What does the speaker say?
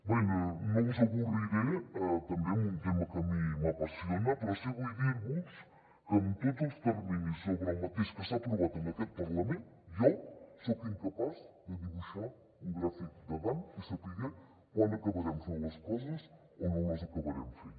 bé no us avorriré tampoc amb un tema que a mi m’apassiona però sí que vull dir vos que amb tots els terminis sobre el mateix que s’han aprovat en aquest parlament jo soc incapaç de dibuixar un gràfic de gantt i saber quan acabarem fent les coses o no les acabarem fent